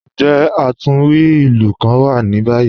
Njẹ́ atunwí ilù kàn wà ní báyì?